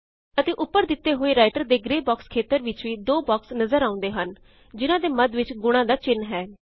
ਅਤੇ ਉੱਪਰ ਦਿੱਤੇ ਹੋਏ ਰਾਇਟਰ ਦੇ ਗ੍ਰੇ ਬਾਕ੍ਸ ਖੇਤਰ ਵਿੱਚ ਵੀ ਦੋ ਬਾਕ੍ਸ ਨਜਰ ਆਉਂਦੇ ਹਨ ਜਿਨਾਂ ਦੇ ਮੱਧ ਵਿੱਚ ਗੁਣਾਂ ਦਾ ਚਿੰਨ ਹੈ